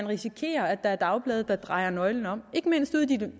risikerer at der er dagblade der drejer nøglen om ikke mindst ude i de